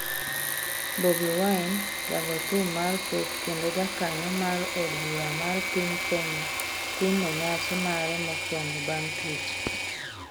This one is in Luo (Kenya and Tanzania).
Bobi Wine: Jago thum mar pop kendo jakanyo mar od bura mar piny Kenya timo nyasi mare mokwongo bang' twech